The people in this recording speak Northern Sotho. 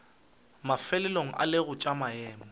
mafelelong e lego tša maemo